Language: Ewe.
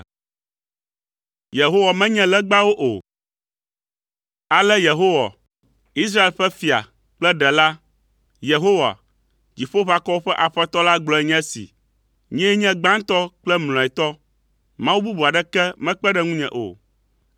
“Ale Yehowa, Israel ƒe Fia kple Ɖela, Yehowa, Dziƒoʋakɔwo ƒe Aƒetɔ la gblɔe nye esi: Nyee nye gbãtɔ kple mlɔetɔ. Mawu bubu aɖeke mekpe ɖe ŋunye o.